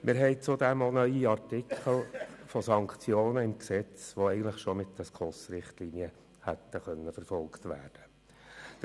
Wir haben zudem auch neue Artikel zu Sanktionen im Gesetz, die eigentlich schon mit den SKOS-Richtlinien hätten verfolgt werden können.